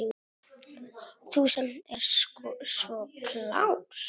Þú sem ert svo klár.